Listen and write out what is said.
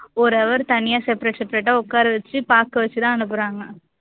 ஒரு hour தனியா separate separate ஆ உக்கார வச்சு பாக்க வச்சு தான் அனுப்புறாங்க